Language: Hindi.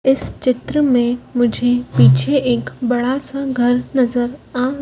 इस चित्र में मुझे पीछे एक बड़ा सा घर नजर आ--